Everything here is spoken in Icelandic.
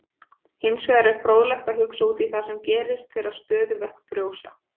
Hins vegar er fróðlegt að hugsa út í það sem gerist þegar stöðuvötn frjósa.